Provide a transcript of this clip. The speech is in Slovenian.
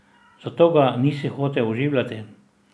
Zato ga nisi hotel oživljati.